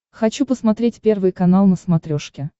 хочу посмотреть первый канал на смотрешке